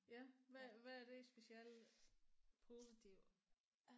Ja hvad hvad er det specielt positivt